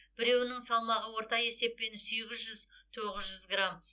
біреуінің салмағы орта есеппен сегіз жүз тоғыз жүз грамм